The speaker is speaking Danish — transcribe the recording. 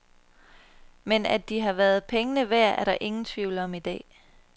Men at de har været pengene værd, er ingen i tvivl om i dag.